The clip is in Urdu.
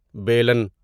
بیلن